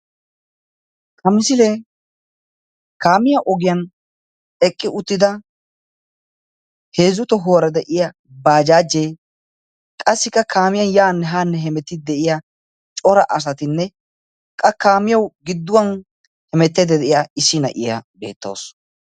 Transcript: Ha misilee kaamiya ogiyan eqqi uttida heezzu tohuwara de'iya baajaaje, qassika kaamiyan yane ha heemetidi de'iya cora asaatinne, qa kaamiyawu gidduwan heemetaydda de'iya issi naa'iya beetawusu.